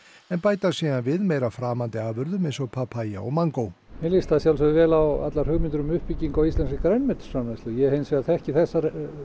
en bæta síðan við meira framandi afurðum eins og papaya og mangó mér líst að sjálfsögðu vel á allar hugmyndir um uppbyggingu á íslenskri grænmetisframleiðslu ég þekki hins vegar ekki þessar